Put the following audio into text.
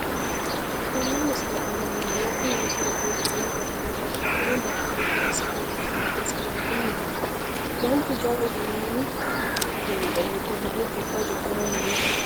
tenne misile aana noorina tini misile biiffanno garinni babaxxinno daniinni xawisse leelishanori isi maati yinummoro manchu jawa uduunnu suuqe giddo mare jibba cu'mire nootta